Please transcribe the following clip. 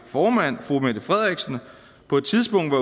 formand fru mette frederiksen på et tidspunkt var